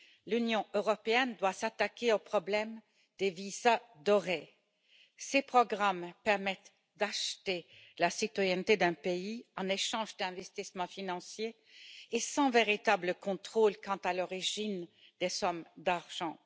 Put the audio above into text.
L'Union européenne doit s'attaquer au problème des visas dorés ces programmes permettent d'acheter la citoyenneté d'un pays en échange d'investissements financiers et sans véritable contrôle quant à l'origine des sommes d'argent.